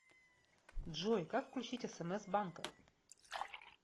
джой как включить смс банка